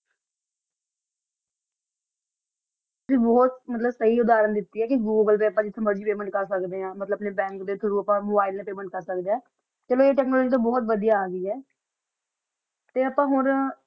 ਬੋਹਤ ਮਤਲਬ ਸੀ ਸੋਹਾਲਤ ਦਿਤੀ ਆ ਜਿਥੋ ਮਰਜ਼ੀ ਅਸੀਂ ਪਾਯ੍ਮੇੰਟ ਕਰ ਸਕਦਾ ਆ ਮਤਲਬ ਆਪਣਾ ਬੈੰਕ ਦਾ ਥੋਉਘ ਮੋਬਿਲੇ ਤਾ ਪਾਯ੍ਮੇੰਟ ਕਰ ਸਕਦਾ ਆ ਚਲੋ ਆ ਆਪਣਾ ਵਾਸਤਾ ਬੋਹਤ ਵੜਿਆ ਆ ਤਾ ਅਪਾ ਹੋਰ